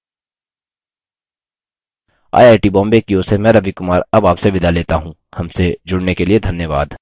I I T Bombay की ओर से मैं रवि कुमार अब आपसे विदा लेता हूँ हमसे जुड़ने के लिए धन्यवाद